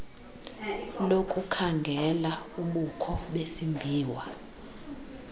lokukhangela ubukho besimbiwa